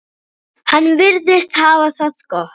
Hann virðist hafa það gott.